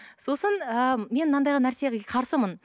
сосын ыыы мен мынандайға нәрсеге қарсымын